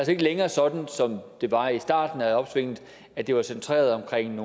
ikke længere sådan som det var i starten af opsvinget at det var centreret omkring